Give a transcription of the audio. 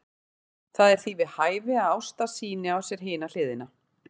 Það er því við hæfi að Ásta sýni á sér hina hliðina.